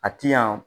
A ti yan